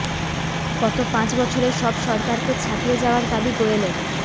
গত পাঁচ বছরে সব সরকারকে ছাপিয়ে যাওয়ার দাবি গোয়েলের